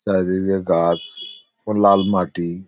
চারিদিকে গাছ ও লাল মাটি ।